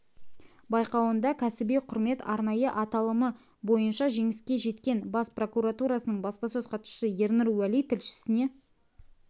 байқауында кәсіби құрмет арнайы аталымы бойынша жеңіске жеткен бас прокуратурасының баспасөз хатшысы ернұр уәли тілшісіне